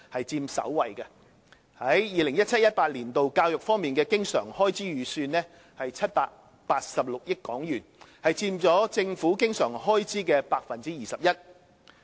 在 2017-2018 年度，教育方面的經常開支預算為786億港元，佔政府經常開支的 21%。